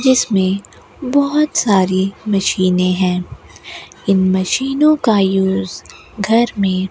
जिसमें बहोत सारी मशीनें हैं इन मशीनों का यूज घर में--